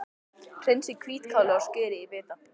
Hreinsið hvítkálið og skerið í bita.